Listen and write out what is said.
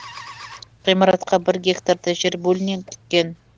ғимаратқа бір гектардай жер бөлінеді екен